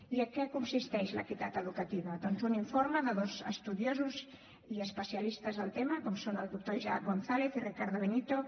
i en què consisteix l’equitat educativa doncs un informe de dos estudiosos i especialistes del tema com són el doctor isaac gonzález i ricardo benito